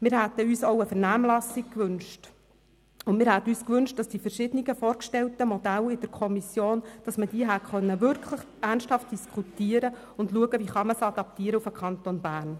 Wir hätten uns auch eine Vernehmlassung gewünscht und dass man die verschiedenen, in der Kommission vorgestellten Modelle wirklich ernsthaft hätte diskutieren und schauen können, wie sie sich auf den Kanton Bern adaptieren lassen.